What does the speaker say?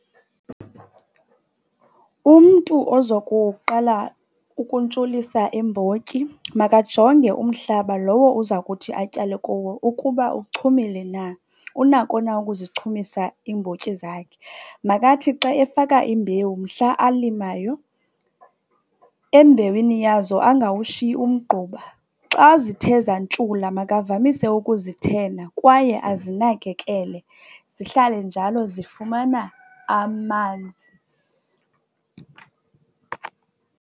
Umntu ozokuqala ukuntshulisa iimbotyi makajonge umhlaba lowo uza kuthi atyale kuwo ukuba uchumile na, unako na ukuzichumisa iimbotyi zakhe. Makathi xa efaka imbewu mhla alimayo, embewini yazo angawushiyi umgquba. Xa zithe zantshula makavamise ukuzithena kwaye azinakekele zihlale njalo zifumana amanzi.